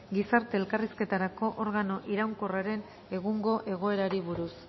gizarte elkarrizketarako organo iraunkorraren egungo egoerari buruz